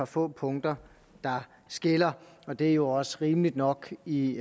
få punkter der skiller og det er jo også rimeligt nok i